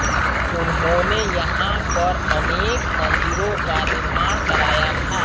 उन्होंने यहां पर अनेक मन्दिरों का निर्माण कराया था